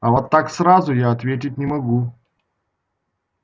а вот так сразу я ответить не могу